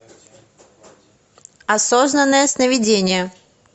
осознанное сновидение